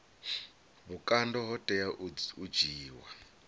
vhukando ho tea u dzhiiwa